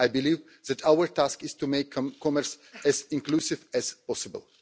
I believe that our task is to make commerce as inclusive as possible.